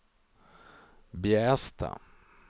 Bjästa